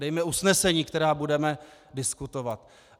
Dejme usnesení, která budeme diskutovat.